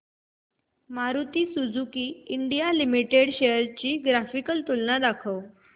Maruti Suzuki India limited shares ची graphical तुलना दाखव